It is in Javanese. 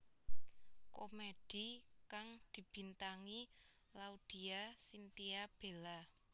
Komedi kang dibintangi Laudya Chintya Bella